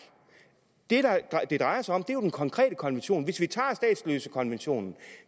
det det drejer sig om er jo den konkrete konvention hvis vi tager statsløsekonventionen